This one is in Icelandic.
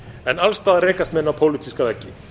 en alls staðar rekast menn á pólitíska veggi